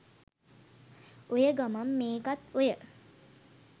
ඔය ගමන් මේකත් ඔය